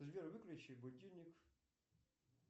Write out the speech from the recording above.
сбер выключи будильник